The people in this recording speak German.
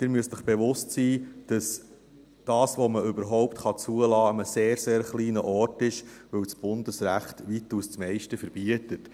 Sie müssen sich bewusst sein, dass das, was man überhaupt zulassen kann, an einem sehr kleinen Ort ist, weil das Bundesrecht das weitaus Meiste verbietet.